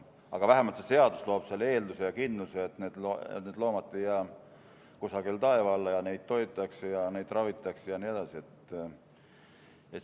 Aga vähemalt see seadus loob eelduse ja kindluse, et need loomad ei jää kusagile taeva alla ja neid toidetakse ja ravitakse ja nii edasi.